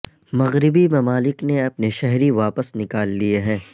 مغربی ممالک نے اپنے شہری واپس نکال لیے ہیں